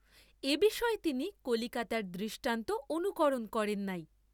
এবিষয়ে তিনি কলিকাতার দৃষ্টান্ত অনুকরণ করেন নাই।